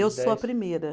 Eu sou a primeira.